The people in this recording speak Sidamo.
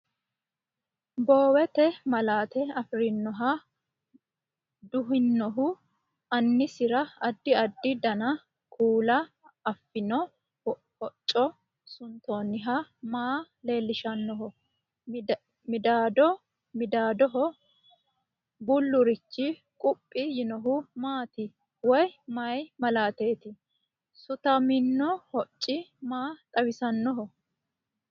Boowete malaate afirinoha duhinohu, aanisira addi addi dana(kuula) afino hocco suntoonnihu maa leellishannoho? Midaado midaadoho bullurichi quphi yiinohu maati woy maay malaateeti? Sutamino hocci maa xawisannoho?